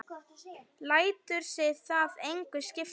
Lætur sig það engu skipta.